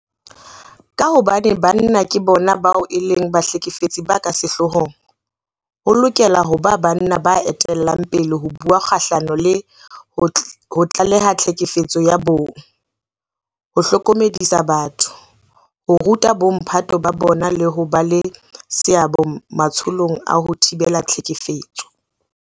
Ka hobane banna ke bona bao e leng bahlekefetsi ba ka sehloohong, ho lokela ho ba banna ba etellang pele ho bua kgahlano le ho tlaleha tlhekefetso ya bong, ho hlokomedisa batho, ho ruta bomphato ba bona le ho ba le seabo matsholong a ho thibela tlhekefetso.